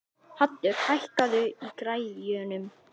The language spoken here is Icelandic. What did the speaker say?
Haddur, hækkaðu í græjunum.